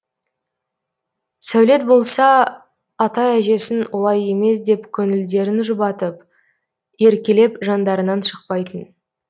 сәулет болса ата әжесін олай емес деп көңілдерін жұбатып еркелеп жандарынан шықпайтын